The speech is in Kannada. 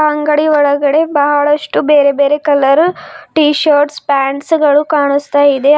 ಅಂಗಡಿಯ ಒಳಗಡೆ ಬಹಳಷ್ಟು ಬೇರೆ ಬೇರೆ ಕಲರ್ ಟೀಶರ್ಟ್ಸ್ ಪ್ಯಾಂಟ್ಸ್ ಗಳು ಕಾಣಿಸ್ತಾ ಇದೆ ಆ--